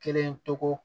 Kelen tɔgɔ